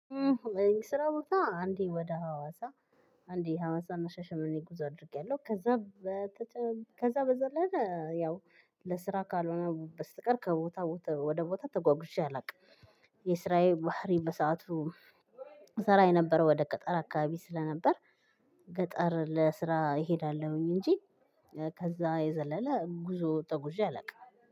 ስራ ቦታ አንዴ ወደ ሀዋሳ አንዴ ሀዋሳና ሻሽመኔ ጉዞ አድርጌያለሁ። ከዛ በተጨማሪ ከዛ በዘለለ ያው ለስራ ካልሆነ በስተቀር ከቦታ ወደ ቦታ ተጓጉዤ አላውቅም። የስራዬ ባህሪ በሰአቱ ስራ የነበረው ወደ ገጠር አካባቢ ስለነበር። ገጠር ለስራ እሄዳለሁኝ እንጂ። ከዛ የዘለለ ጉዞ ተጉዤ አላውቅም